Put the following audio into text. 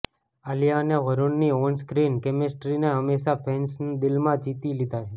આલિયા અને વરૂણની on screen કેમેસ્ટ્રીને હંમેશા ફેન્સના દિલ જીતી લીધા છે